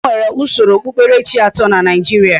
E nwere usoro okpukperechi ato na Naijiria.